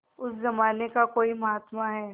उस जमाने का कोई महात्मा है